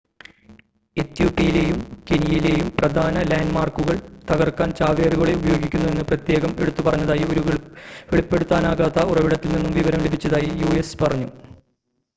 "എത്യോപ്യയിലെയും കെനിയയിലെയും "പ്രധാന ലാൻഡ് മാർക്കുകൾ" തകർക്കാൻ ചാവേറുകളെ ഉപയോഗിക്കുന്നു എന്ന് പ്രത്യേകം എടുത്തു പറഞ്ഞതായി ഒരു വെളിപ്പെടുത്താനാകാത്ത ഉറവിടത്തിൽ നിന്നും വിവരം ലഭിച്ചതായി യു.എസ്. പറഞ്ഞു.